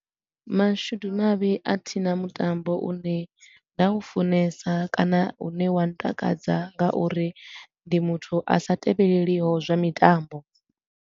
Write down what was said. Mashudu mavhi a thina mutambo u ne nda u funesa kana u ne wa ntakadza nga uri ndi muthu a sa tevheleliho zwa mitambo.